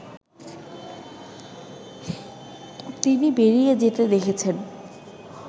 তিনি বেরিয়ে যেতে দেখেছেন